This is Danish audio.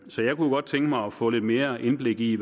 så jeg kunne godt tænke mig at få lidt mere indblik i